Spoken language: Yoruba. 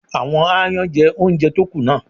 Àwọn aáyán jẹ oúnjẹ tó kù náà.